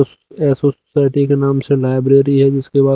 उस एसो सोसाइटी के नाम से लाइब्रेरी है जिसके बाद--